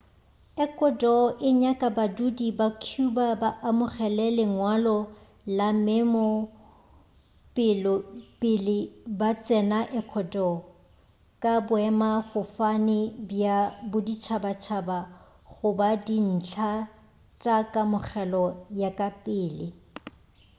ecuador e nyaka badudi ba cuba ba amogele lengwalo la memo pele ba tsena ecuador ka boemafofane bja boditšhabatšhaba goba dintlha tša kamogelo ya ka pele